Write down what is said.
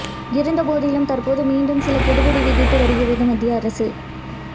இருந்தபோதிலும் தற்போது மீண்டும் சில கெடுபிடி விதித்து வருகிறது மத்திய அரசு